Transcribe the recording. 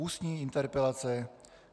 Ústní interpelace